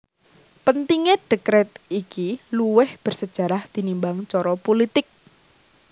Pentingé dèkret iki luwih bersejarah tinimbang cara pulitik